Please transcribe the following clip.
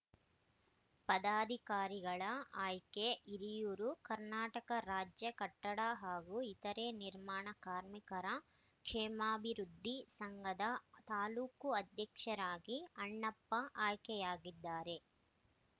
ಪದಾಧಿಕಾರಿಗಳ ಆಯ್ಕೆ ಹಿರಿಯೂರು ಕರ್ನಾಟಕ ರಾಜ್ಯ ಕಟ್ಟಡ ಹಾಗೂ ಇತರೆ ನಿರ್ಮಾಣ ಕಾರ್ಮಿಕರ ಕ್ಷೇಮಾಭಿವೃದ್ಧಿ ಸಂಘದ ತಾಲೂಕು ಅಧ್ಯಕ್ಷರಾಗಿ ಅಣ್ಣಪ್ಪ ಆಯ್ಕೆಯಾಗಿದ್ದಾರೆ